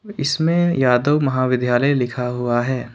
इसमें यादव महाविद्यालय लिखा हुआ है।